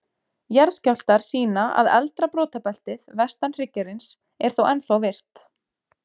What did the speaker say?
Jarðskjálftar sýna að eldra brotabeltið, vestan hryggjarins, er þó ennþá virkt.